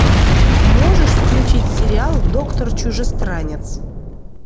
можешь включить сериал доктор чужестранец